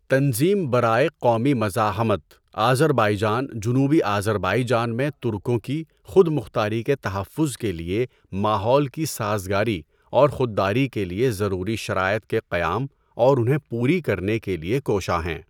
تنظیم برائے قومی مزاحمت آذربایجان جنوبی آذربائیجان میں ترکوں کی خود مختاری کے تحفظ کے لیے ماحول کی سازگاری اور خود داری کے لیے ضروری شرائط کے قیام اور انہیں پوری کرنے کے لیے کوشاں ہیں۔